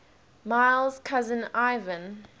miles cousin ivan